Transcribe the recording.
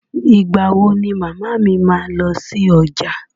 Ìgbà wo ni màmá mi máa lọ sí ọjà?